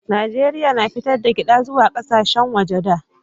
najeriya na fitar da gyada zuwa ƙasashen waje da